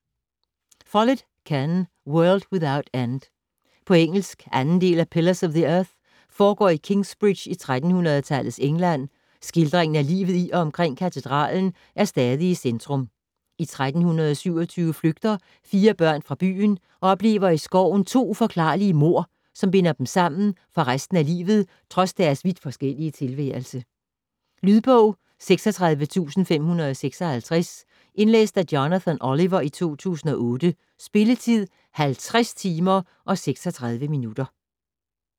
Follett, Ken: World without end På engelsk. 2. del af Pillars of the earth. Foregår i Kingsbridge i 1300-tallets England, skildringen af livet i og omkring katedralen er stadig i centrum. I 1327 flygter fire børn fra byen og oplever i skoven to uforklarlige mord, som binder dem sammen for resten af livet trods deres vidt forskellige tilværelse. Lydbog 36556 Indlæst af Jonathan Oliver, 2008. Spilletid: 50 timer, 36 minutter.